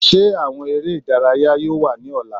Ṣe awọn ere idaraya yoo wa ni ọla?